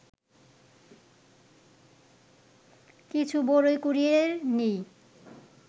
কিছু বরই কুড়িয়ে নিই